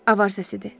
Avar səsidir.